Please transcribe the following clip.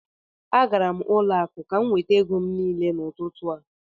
Agara m n'ụlọ akụ ka m nweta ego m niile n'ụtụtụ a